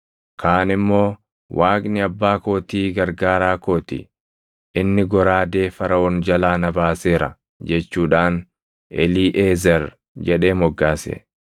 Kaan immoo, “Waaqni abbaa kootii gargaaraa kooti; inni goraadee Faraʼoon jalaa na baaseera” jechuudhaan Eliiʼezer jedhee moggaase.